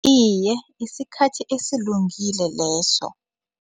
Iye, isikhathi esilungile leso.